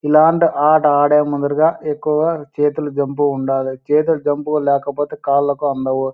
ఇలాంటి ఆట ఆడే ముందరగా ఎక్కువగా చేతులు జంపుగా ఉండాలే చేతులు జంపుగా లేకపోతె కాళ్ళకి అందవు.